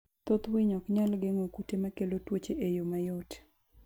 Thoth winy ok nyal geng'o kute makelo tuoche e yo mayot.